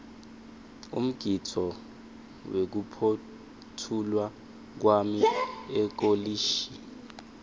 umgidvo wekuphotfulwa kwami ekolishi